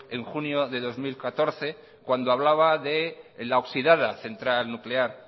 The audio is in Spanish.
en junio de dos mil catorce cuando hablaba de la oxidada central nuclear